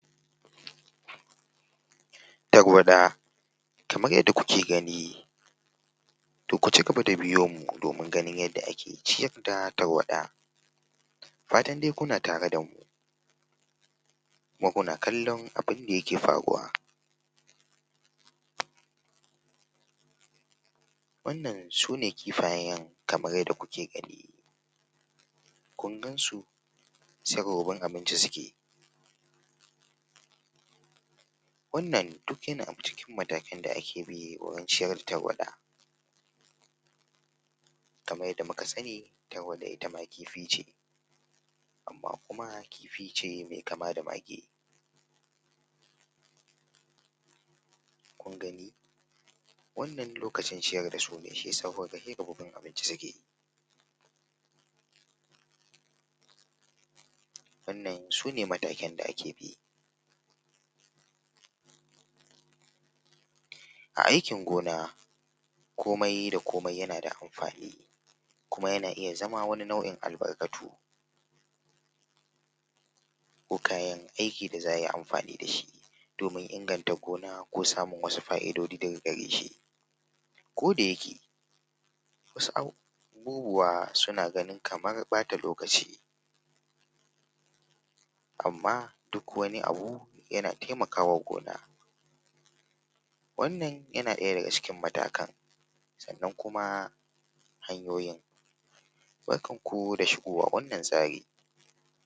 Tarwaɗa kamar yadda kuka gani to ku ci gaba da biyo mu don ganin yadda ake ciyar da Tarwaɗa, Fatan dai kuna tare da mu kuma kuna kallon me ye ke faruwa, Wannan su ne kifayen kamar yadda kuke gani, kun gan su saI rububin abinci suke yi, Wannan duk yana cikin matakan da ake bi wurin ciyar da Tarwaɗa kamar yadda muka sani Tarwaɗa ita ma kifi ce amma kuma kifi ne mai kama da mage, kun gani wannan lokacin ciyar da su ne sai ka ga sai rububin abinci suke, wannan su ne matakan da ake bi a aikin gona komai da komai yana da amfani kuma yana iya zama wani nau’in albarkatu ko kayan aiki domin inganta gona ka samu wasu fa’idodi daga gare su ko da yake wasu abubuwa suna gani kamar ɓata lokaci, Amma duk wani abu yana taimaka ma gona ,wannan yana ɗaya daga cikin matakan, sannan kuma yana hanyoyin barkanku da shigowa wannan tsari.